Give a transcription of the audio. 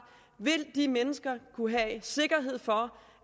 kunne have sikkerhed for